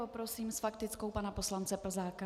Poprosím s faktickou pana poslance Plzáka.